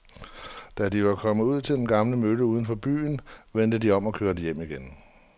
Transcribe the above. Da de var kommet ud til den gamle mølle uden for byen, vendte de om og kørte hjem igen.